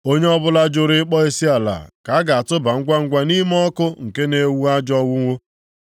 Onye ọbụla juru ịkpọ isiala ka a ga-atụba ngwangwa nʼime ọkụ nke na-enwu ajọ onwunwu.”